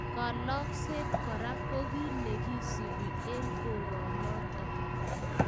Kalokset kora ko kiy ne kisubiy eng koronotok